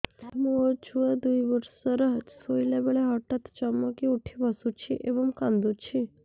ମୋ ଛୁଆ ଦୁଇ ବର୍ଷର ଶୋଇଲା ବେଳେ ହଠାତ୍ ଚମକି ଉଠି ବସୁଛି ଏବଂ କାଂଦୁଛି